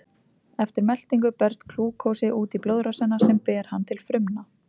Eftir meltingu berst glúkósi út í blóðrásina sem ber hann til frumna.